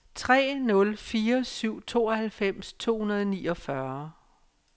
tre nul fire syv tooghalvfems to hundrede og niogfyrre